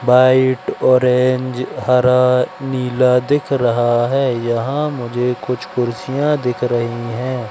White orange हरा नीला दिख रहा हैं यहां मुझे कुछ कुर्सियां दिख रही हैं।